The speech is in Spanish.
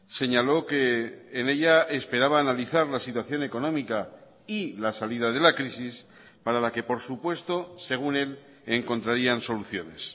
señaló que en ella esperaba analizar la situación económica y la salida de la crisis para la que por supuesto según él encontrarían soluciones